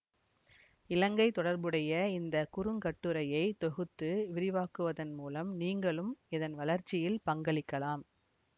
இலங்கை தொடர்புடைய இந்த குறுங்கட்டுரையை தொகுத்து விரிவாக்குவதன் மூலம் நீங்களும் இதன் வளர்ச்சியில் பங்களிக்கலாம்